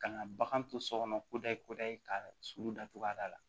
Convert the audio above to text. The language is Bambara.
Ka na bagan to so kɔnɔ koda ye kodda ye ka suru da cogoya da la